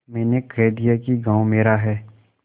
मैंने कह दिया कि गॉँव मेरा है